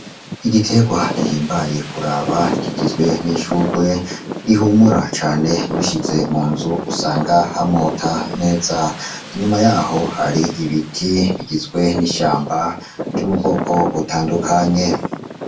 Igiterwa gihimbaye kuraba kigizwe n‘ ishurwe rihumura cane urishize mu nzu usanga hamota neza. Inyuma yaho hari ibiti bigizwe n‘ ishamba vyo mu bwoko butandukanye .